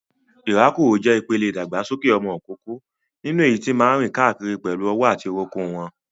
Ìrákòrò jẹ́ ìpele ìdàgbàsókè ọmọ ìkókó nínú èyí tí máa ń rìn káàkiri pẹ̀lú ọwọ́ àti orúnkún wọn.